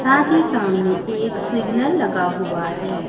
साथ ही सामने एक सिग्नल लगा हुआ है।